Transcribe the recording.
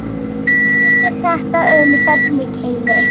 segir þetta um fellið Keili